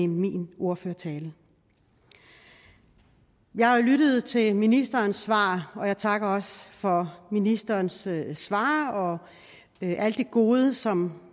min ordførertale jeg har jo lyttet til ministerens svar og jeg takker også for ministerens svar og alt det gode som